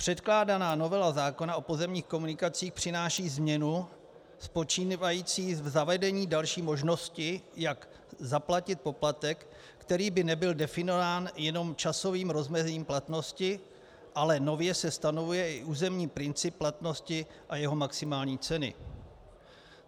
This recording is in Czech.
Předkládaná novela zákona o pozemních komunikacích přináší změnu spočívající v zavedení další možnosti, jak zaplatit poplatek, který by nebyl definován jenom časovým rozmezím platnosti, ale nově se stanovuje i územní princip platnosti a jeho maximální ceny.